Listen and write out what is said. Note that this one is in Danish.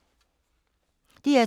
DR2